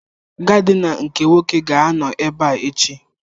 Gaadina nke Nwoke ga-anọ ebe a echi.